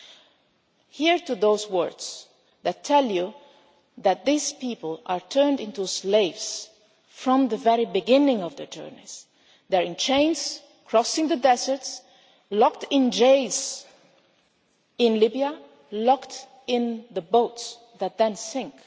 Listen to those words that tell you that these people are turned into slaves from the very beginning of their journeys. They are in chains crossing the deserts, locked in jails in Libya, locked in the boats that then